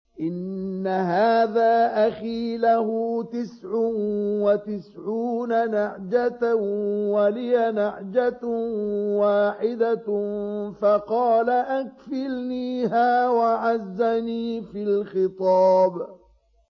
إِنَّ هَٰذَا أَخِي لَهُ تِسْعٌ وَتِسْعُونَ نَعْجَةً وَلِيَ نَعْجَةٌ وَاحِدَةٌ فَقَالَ أَكْفِلْنِيهَا وَعَزَّنِي فِي الْخِطَابِ